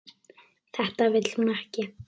Þetta vill hún ekki.